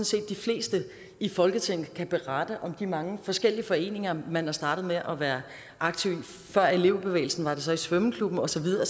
set de fleste i folketinget kan berette om de mange forskellige foreninger man er startet med at være aktiv i før elevbevægelsen var det så i svømmeklubben og så videre